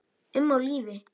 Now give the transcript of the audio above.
um á lífi.